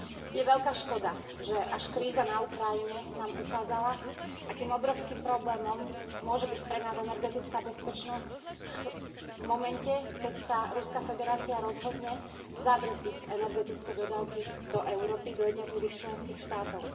Je veľká škoda, že až kríza na Ukrajine nám ukázala akým obrovským problémom môže byť pre nás energetická bezpečnosť v momente, keď sa Ruská federácia rozhodne zabrzdiť energetické dodávky do Európy, do jednotlivých členských štátov.